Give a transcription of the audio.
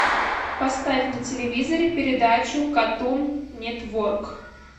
поставь на телевизоре передачу катун нетворк